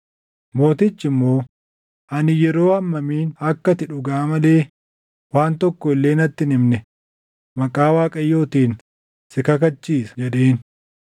Mootichi immoo, “Ani yeroo hammamin akka ati dhugaa malee waan tokko illee natti hin himne maqaa Waaqayyootiin si kakachiisa?” jedheen.